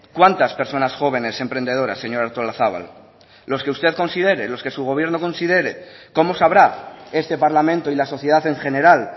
cuántas personas jóvenes emprendedoras señora artolazabal los que usted considere los que su gobierno considere cómo sabrá este parlamento y la sociedad en general